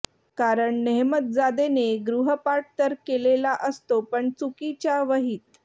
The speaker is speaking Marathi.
कारण नेहमतजादेने गृहपाठ तर केलेला असतो पण चुकीच्या वहीत